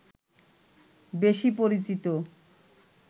বেশি পরিচিত